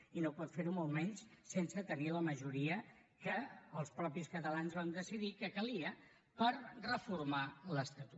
i no pot fer ho molt menys sense tenir la majoria que els mateixos catalans vam decidir que calia per reformar l’estatut